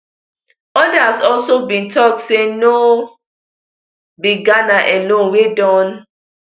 odas also bin tok say no be ghana alone wey don